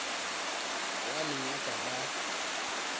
ao aneng a ka ba